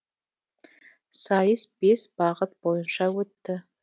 сайыс бес бағыт бойынша өтті